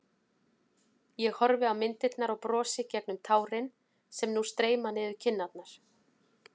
Ég horfi á myndirnar og brosi gegnum tárin sem nú streyma niður kinnarnar.